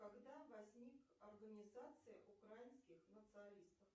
когда возник организация украинских националистов